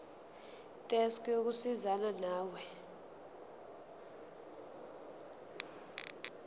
desk yokusizana nawe